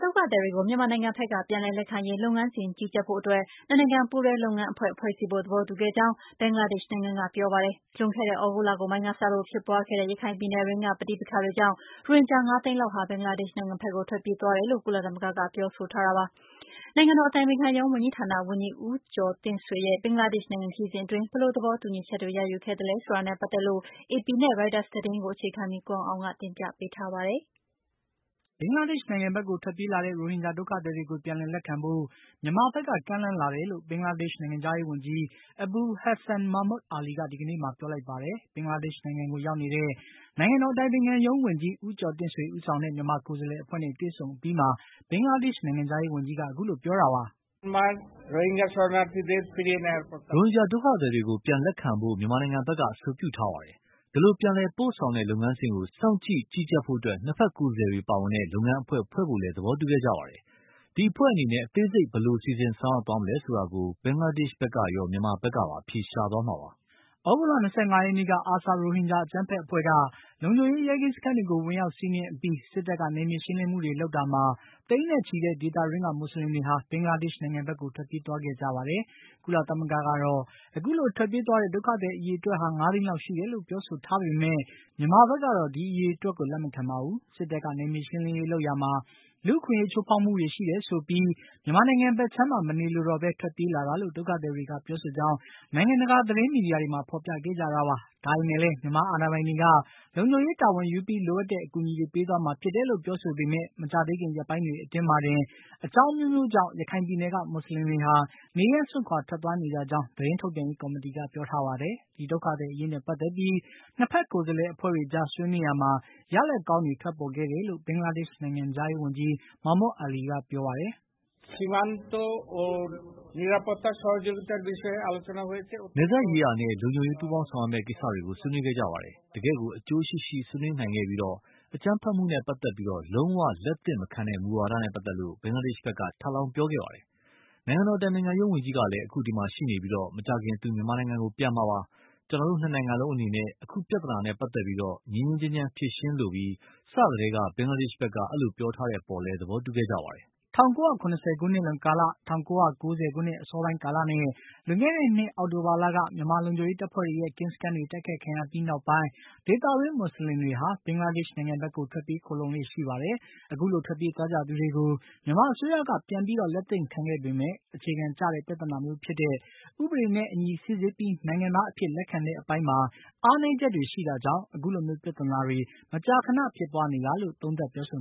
ဒုက္ခသည်တွေကို မြန်မာနိုင်ငံဘက်က ပြန်လည်လက်ခံရေး လုပ်ငန်းစဉ် ကြီးကြပ်ဖို့အတွက် ၂ နိုင်ငံပူးတွဲ လုပ်ငန်းအဖွဲ့ ဖွဲ့စည်းဖို့ သဘောတူခဲ့ကြောင်း ဘင်္ဂလားဒေ့ရှ်နိုင်ငံကပြောပါတယ်။ လွန်ခဲ့တဲ့ သြဂုတ်လကုန်ပိုင်းကစလို့ ဖြစ်ပွါးခဲ့တဲ့ ရခိုင်ပြည်နယ်တွင်းက ပဋိပက္ခတွေကြောင့် ရိုဟင်ဂျာ ၅ သိန်းလောက် ဟာ ဘင်္ဂလားဒေ့ရှ်နိုင်ငံဘက်ကို ထွက်ပြေးသွားကြတယ်လို့ ကုလသမဂ္ဂက ပြောထားတာပါ။ နိုင်ငံတော် အတိုင်ပင်ခံရုံး ဝန်ကြီးဌာန ဝန်ကြီး ဦးကျော်တင့်ဆွေရဲ့ ဘင်္ဂလားဒေ့ရှ်နိုင်ငံ ခရီးစဉ်အတွင်း ဘယ်လို သဘောတူညီချက်တွေ ရယူခဲ့သလဲဆိုတာနဲ့ ပတ်သတ်လို့ AP နဲ့ Reuters သတင်းကို အခြေခံပြီး ကိုအောင်အောင်က တင်ပြပေးထားပါတယ်။ ဘင်္ဂလားဒေ့ရှ်နိုင်ငံဘက်ကို ထွက်ပြေးလာတဲ့ ရိုဟင်ဂျာဒုက္ခသည်တွေကို ပြန်လည်လက်ခံဖို့ မြန်မာဘက်က ကမ်းလှမ်းလာတယ်လို့ ဘင်္ဂလားဒေ့ရှ်နိုင်ငံခြားရေးဝန်ကြီး Abul Hassan Mahmood Ali က ဒီကနေ့မှာ ပြောလိုက်ပါတယ်။ ဘင်္ဂလားဒေ့ရှ်နိုင်ငံကို ရောက်နေတဲ့ နိုင်ငံတော် အတိုင်ပင်ခံရုံးဝန်ကြီး ဦးကျော်တင့်ဆွေ ဦးဆောင်တဲ့ မြန်မာကိုယ်စားလှယ်အဖွဲ့နဲ့ တွေ့ဆုံအပြီးမှာ ဘင်္ဂလားဒေ့ရှ် နိုင်ငံခြားရေးဝန်ကြီးက အခုလိုပြောတာပါ။ "ရိုဟင်ဂျာဒုက္ခသည်တွေကို ပြန်လက်ခံဖို့ မြန်မာဘက်က အဆိုပြုထားပါတယ်။ အဲဒီလိုပြန်လည် ပို့ဆောင်တဲ့ လုပ်ငန်းစဉ်ကို စောင့်ကြည့် ကြီးကြပ်ဖို့ ၂ ဖက်ကိုယ်စားလှယ်တွေပါဝင်တဲ့ လုပ်ငန်းအဖွဲ့ ဖွဲ့ဘို့လည်း သဘောတူခဲ့ကြပါတယ်။ ဒီအဖွဲ့အနေနဲ့ အသေးစိတ် ဘယ်လို စီစဉ်ဆောင်ရွက်သွားမလဲဆိုတာကို ဘင်္ဂလားဒေ့ရှ်ဘက်ကရော မြန်မာဘက်ကပါ အဖြေရှာသွားမှာပါ။" သြဂုတ်လ ၂၅ ရက်နေ့က အာဆာ ရိုဟင်ဂျာ အကြမ်းဖက်အဖွဲ့က လုံခြုံရေး ရဲကင်းစခန်းတွေကို ဝင်ရောက်စီးနင်းအပြီး စစ်တပ်က နယ်မြေရှင်းလင်းမှုတွေလုပ်တာမှာ သိန်းနဲ့ချီတဲ့ ဒေသတွင်းက မူစလင်တွေဟာ ဘင်္ဂလားဒေ့ရှ်နိုင်ငံဘက်ကို ထွက်ပြေးသွားခဲ့ကြပါတယ်။ ကုလသမဂ္ဂကတော့ အခုလို ထွက်ပြေးသွားတဲ့ ဒုက္ခသည်အရေအတွက်ဟာ ၅ သိန်းလောက်ရှိတယ်လို့ ပြောဆိုထားပေမယ့် မြန်မာဘက်ကတော့ ဒီအရေအတွက်ကို လက်မခံပါဘူး။ စစ်တပ်က နယ်မြေရှင်းလင်းရေးလုပ်ရာမှာ လူ့အခွင့်အရေးချိုးဖေါက်ပြီး ဖိနှိပ်မှုတွေကြောင့် မြန်မာနိုင်ငံဘက်ခြမ်းမှာ မနေလိုတော့ပဲ ထွက်ပြေးလာတာလို့ ဒုက္ခသည်တွေက ပြောဆိုကြောင်း နိုင်ငံတကာ သတင်းမီဒီယာတွေမှာ ဖေါ်ပြခဲ့ကြတာပါ။ ဒါပေမယ့်လည်းမြန်မာအာဏာပိုင်တွေက လုံခြုံရေးတာဝန်ယူပြီး လိုအပ်တဲ့အကူအညီတွေ ပေးသွားမှာဖြစ်ပေမယ့် မကြာသေးခင် ရက်ပိုင်းအတွင်းမှာတင် အကြောင်း အမျိုးမျိုးကြောင့် ရခိုင်ဒေသက မူစလင်တွေဟာ နေရပ်စွန့်ခွါထွက်သွားနေကြကြောင်း သတင်းထုတ်ပြန်ရေးကော်မတီက ပြောထားပါတယ်။ ဒီ ဒုက္ခသည်အရေးနဲ့ ပါတ်သတ်ပြီး ၂ ဖက်ကိုယ်စားလှယ်အဖွဲ့တွေကြား ဆွေးနွေးရာမှာ ရလာဒ်ကောင်းတွေ ထွက်ပေါ်ခဲ့တယ်လို့ ဘင်္ဂလားဒေ့ရှ်နိုင်ငံခြားရေးဝန်ကြီး Mahmood Ali က ပြောပါတယ်။ "နယ်စပ်ရေးရာနဲ့ လုံခြုံရေးပူးပေါင်းဆောင်ရွက်မယ့်ကိစ္စတွေကို ဆွေးနွေးခဲ့ကြပါတယ်။ တကယ့်ကို အကျိုးရှိရှိ ဆွေးနွေးနိုင်ခဲ့ပြီး အကြမ်းဖက်မှုနဲ့ ပတ်သတ်ပြီး လုံး၀ လက်သင့်မခံတဲ့မူဝါဒနဲ့ ပတ်သတ်ပြီး ဘင်္ဂလားဒေ့ရှ်ဘက်က ထပ်လောင်း ပြောကြားခဲ့ပါတယ်။ နိုင်ငံတော် အတိုင်ပင်ခံရုံးဝန်ကြီးလည်း အခုဒီမှာ ရှိနေပြီး မကြာခင်သူ မြန်မာနိုင်ငံကို ပြန်မှာပါ။ ကျနော်တို့ ၂ နိုင်ငံလုံးအနေနဲ့ အခုပြဿနာနဲ့ ပတ်သတ်လို့ ငြိမ်းငြိမ်းချမ်းချမ်း ဖြေရှင်းလိုပြီး စကတည်းက ဘင်္ဂလားဒေ့ရှ်ဘက်က အဲဒီလိုပြောထားတဲ့အပေါ်လည်း သဘောတူခဲ့ကြပါတယ်။" ၁၉၇၀ ခုနှစ်လွန်ကာလ၊ ၁၉၉၀ ခုနှစ်အစောပိုင်းကာလနဲ့ လွန်ခဲ့တဲ့နှစ် အောက်တိုဘာလက မြန်မာ လုံခြုံရေးတပ်ဖွဲ့တွေရဲ့ ကင်းစခန်းတွေ တိုက်ခိုက်ခံရအပြီးနောက်ပိုင်း ဒေသတွင်း မူစလင်တွေဟာ ဘင်္ဂလားဒေ့ရှ်နိုင်ငံဘက်ကို ထွက်ပြေးခိုလှုံလေ့ရှိပါတယ်။ အခုလို ထွက်ပြေးသွားကြသူတွေကို မြန်မာအစိုးရဘက်က ပြန်ပြီးလက်သင့်ခံခဲ့ပေမယ့် အခြေခံကျတဲ့ ပြဿနာမျိုးဖြစ်တဲ့ ဥပဒေနဲ့အညီ စိစစ်ပြီး နိုင်ငံသားအဖြစ် လက်ခံတဲ့အပိုင်းမှာ အားနည်းချက်တွေရှိတာကြောင့် အခုလိုမျိုး ပြဿနာတွေ မကြာခဏဖြစ်ပွါးနေတာလို့ သုံးသပ်ပြောဆို